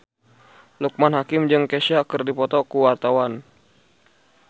Loekman Hakim jeung Kesha keur dipoto ku wartawan